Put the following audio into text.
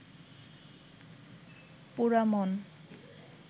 পোড়ামন